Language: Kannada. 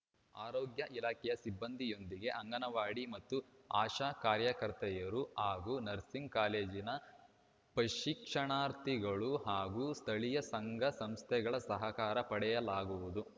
ಆರೋಗ್ಯ ಇಲಾಖೆಯ ಸಿಬ್ಬಂದಿಯೊಂದಿಗೆ ಅಂಗನವಾಡಿ ಮತ್ತು ಆಶಾ ಕಾರ್ಯಕರ್ತೆಯರು ಹಾಗೂ ನರ್ಸಿಂಗ್‌ ಕಾಲೇಜಿನ ಪ್ರಶಿಕ್ಷಣಾರ್ಥಿಗಳು ಹಾಗೂ ಸ್ಥಳೀಯ ಸಂಘಸಂಸ್ಥೆಗಳ ಸಹಕಾರ ಪಡೆಯಲಾಗುವುದು